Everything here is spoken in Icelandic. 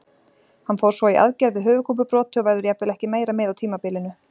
Hann fór svo í aðgerð við höfuðkúpubroti og verður jafnvel ekki meira með á tímabilinu.